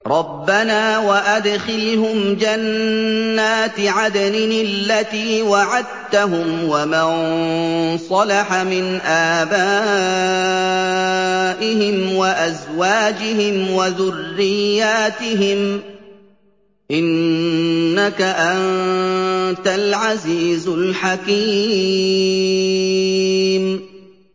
رَبَّنَا وَأَدْخِلْهُمْ جَنَّاتِ عَدْنٍ الَّتِي وَعَدتَّهُمْ وَمَن صَلَحَ مِنْ آبَائِهِمْ وَأَزْوَاجِهِمْ وَذُرِّيَّاتِهِمْ ۚ إِنَّكَ أَنتَ الْعَزِيزُ الْحَكِيمُ